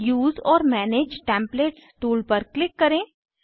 उसे ओर manage templates tool पर क्लिक करें